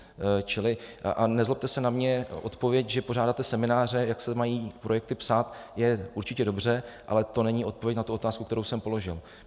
Čili, a nezlobte se na mě, odpověď, že pořádáte semináře, jak se mají projekty psát, je určitě dobře, ale to není odpověď na tu otázku, kterou jsem položil.